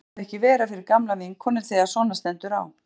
Minna má það ekki vera fyrir gamla vinkonu þegar svona stendur á.